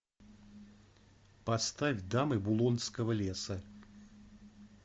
поставь дамы булонского леса